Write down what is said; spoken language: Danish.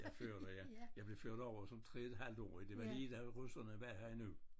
Jeg er ført her ja jeg blev ført over som 3 et halvtårig det var lige da russerne var her endnu